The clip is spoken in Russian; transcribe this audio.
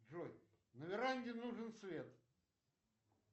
джой на веранде нужен свет